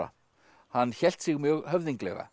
hann hélt sig mjög höfðinglega